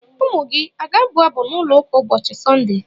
Ụmụ gị a ga-abụ abụ n’ụlọ ụka ụbọchị Sọnde?